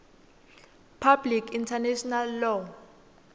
public international law